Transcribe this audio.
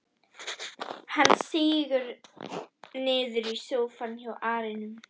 Hann sígur niður í sófann hjá arninum.